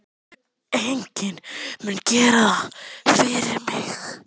Enginn mun gera það fyrir mig.